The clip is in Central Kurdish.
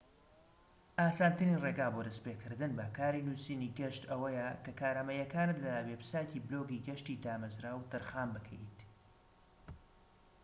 ئاسانترین ڕێگا بۆ دەست پێكردن بە کاری نووسینی گەشت ئەوەیە کە کارامەییەکانت لە وێبسایتی بلۆگی گەشتی دامەزراو تەرخان بکەیت